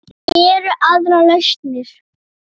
Eru aðrar lausnir?